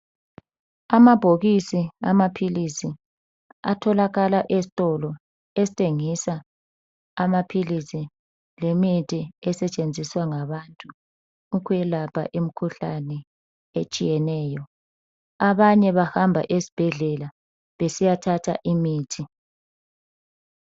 Amabhokisi amaphilisi atholakala esitolo esithengisa amaphilisi lemithi esetshenziswa ngabantu ukwelapha imikhuhlane etshiyeneyo , abanye bahamba esbhedlela besiyathatha imithi